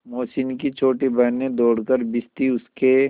मोहसिन की छोटी बहन ने दौड़कर भिश्ती उसके